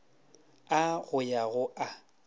a go ya go a